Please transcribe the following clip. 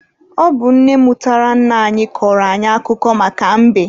Ọ bụ nne mụtara nna anyị kọrọ anyị akụkọ maka mbe.